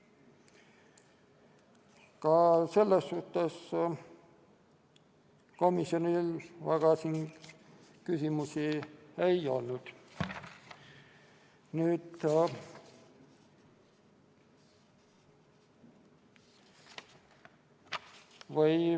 Ka selles suhtes komisjonil küsimusi väga ei olnud.